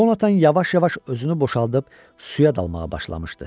Conatan yavaş-yavaş özünü boşaldıb suya dalmağa başlamışdı.